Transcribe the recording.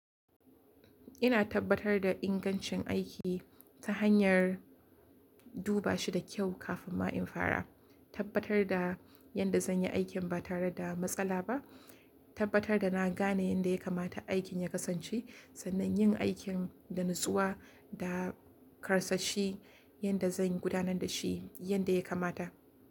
Ina tabbatar da ingancin aiki ta hanyar duba shi da kyau kafin ma in fara. Tabbatar da yadda zan yi aikin ba tare da matsala ba. Tabbatar da na gane yadda ya kamata aikin ya kasance sannan yin aikin da natsuwa da karsashi yanda zan gudanar da shi yanda ya kamata.